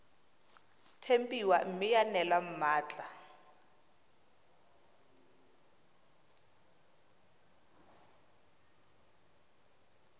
tempiwa mme ya neelwa mmatla